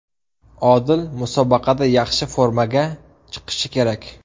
Odil musobaqada yaxshi formaga chiqishi kerak.